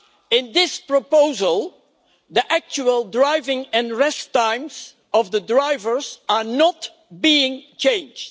In this proposal, the actual driving and rest times of the drivers are not being changed.